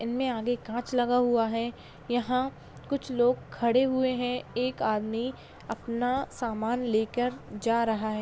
इनमें आगे काँच लगा हुआ है यहाँ कुछ लोग खड़े हुए हैं एक आदमी अपना सामान लेकर जा रहा है।